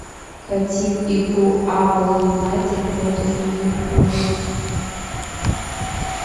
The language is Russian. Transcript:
хотим игру апл юнайтед против ливерпуля